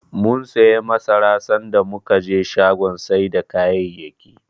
Mum siyo masara, sanda muka je shagon sai da kayayyaki.